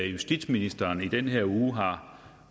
justitsministeren i den her uge har